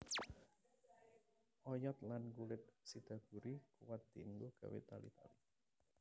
Oyod lan kulit sidaguri kuwat dienggo gawé tali tali